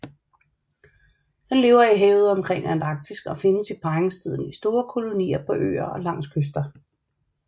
Den lever i havet omkring Antarktis og findes i parringstiden i store kolonier på øer og langs kyster